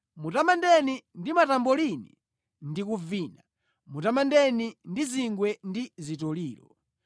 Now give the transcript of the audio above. Mutamandeni ndi matambolini ndi kuvina, mutamandeni ndi zingwe ndi zitoliro.